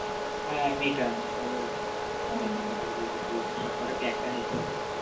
হাঁ মেটা মেটা বল মেয়েটা করে দিয়েছে সবকটা, এক টানে equal রাখা